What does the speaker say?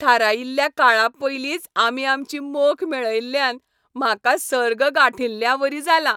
थारायिल्ल्या काळा पयलींच आमी आमची मोख मेळयल्ल्यान म्हाका सर्ग गांठिल्ल्यावरी जालां!